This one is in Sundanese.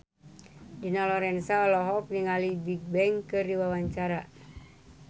Dina Lorenza olohok ningali Bigbang keur diwawancara